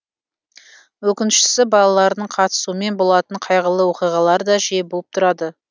өкініштісі балалардың қатысуымен болатын қайғылы оқиғалар да жиі болып тұрады